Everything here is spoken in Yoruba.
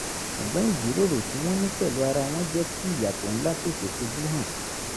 ṣùgbọ́n ìjíròrò tí wọ́n ní pẹ̀lú ara wọn jẹ́ kí ìyàtọ̀ ńlá tètè fojú hàn